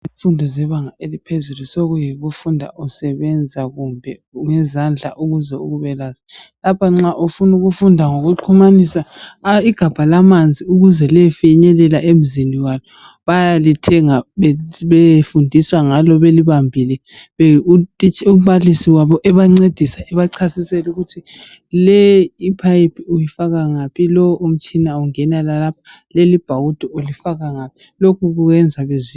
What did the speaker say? imfundo yebanga eliphezulu sekuyikufunda usebenza ngezandla ukuze ube kwazi lapha ufuna ukufunda ngokuxhumanisa igabha lamanzi ukuze liyefinyelela emzini wakhe bayalithenga bayefundiswa ngalo belibambile umbalisi wabo ebancedisa ebachasisela ukuthi leyi ipipe uyifaka ngaphi lo utshina ungena lapha leli ibhawudo ulifaka ngaphi lokhu kwenza